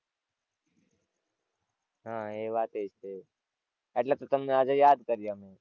હાં એ વાતય છે. એટલે તો તમને આજે યાદ કર્યા મે.